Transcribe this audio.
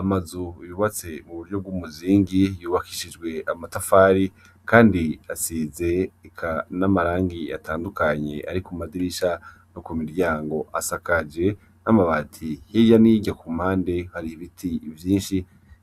Amazu yubatse mu buhinga bw'umuzingi yubakishijwe amatafari kandi asize eka n'amarangi atandukanye ari ku madirisha no ku miryango, asakaje n'amabati. Hirya n'irya ku mpande hari ibiti